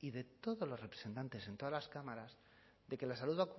y de todos los representantes en todas las cámaras de que la salud